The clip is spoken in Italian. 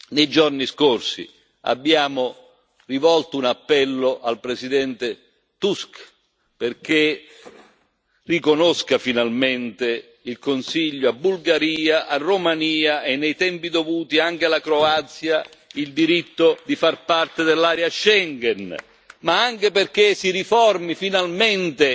Nei giorni scorsi abbiamo rivolto un appello al presidente Tusk perché riconosca finalmente il Consiglio a Bulgaria a Romania e, nei tempi dovuti anche alla Croazia, il diritto di far parte dello spazio di Schengen ma anche perché si riformi finalmente